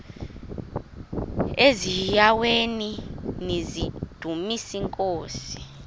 eziaweni nizidumis iinkosi